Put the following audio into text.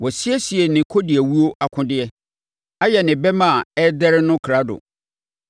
Wasiesie ne kɔdiawuo akodeɛ; ayɛ ne bɛmma a ɛrederɛ no krado.